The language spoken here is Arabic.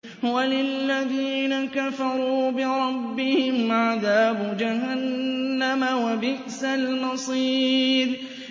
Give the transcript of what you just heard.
وَلِلَّذِينَ كَفَرُوا بِرَبِّهِمْ عَذَابُ جَهَنَّمَ ۖ وَبِئْسَ الْمَصِيرُ